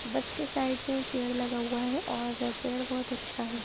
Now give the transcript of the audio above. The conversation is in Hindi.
बस के साइड मै एक पेड़ लगा हुआ हैऔर पेड़ बहुत अच्छा है।